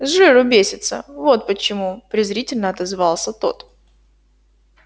с жиру бесятся вот почему презрительно отозвался тот